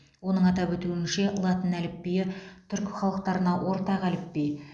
оның атап өтуінше латын әліпбиі түркі халықтарына ортақ әліпби